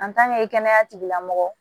kɛnɛya tigilamɔgɔ